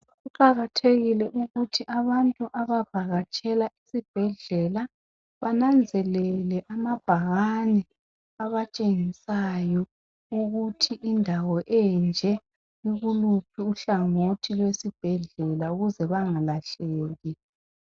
Kuqakathekile ukuthi abantu abavakatshela esibhedlela bananzelele amabhakani abatshengisayo ukuthi indawo enje ikuluphi uhlangothi lwesibhedlela ukuze bangalahleki.